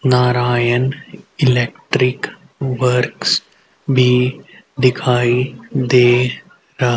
Narayan electric works भी दिखाई दे रहा--